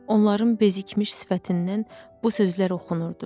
Onların bezikmiş sifətindən bu sözlər oxunurdu.